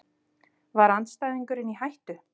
Var andstæðingurinn í hættu?